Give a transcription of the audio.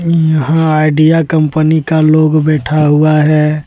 यहां Idea company का लोग बैठा हुआ है।